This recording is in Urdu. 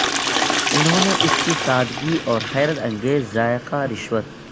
انہوں نے اس کی سادگی اور حیرت انگیز ذائقہ رشوت